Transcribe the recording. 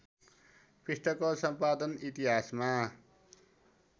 पृष्ठको सम्पादन इतिहासमा